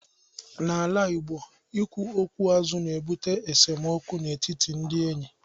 N'ala Igbo, ikwu okwu azụ na-ebute esemokwu n'etiti ndị enyi.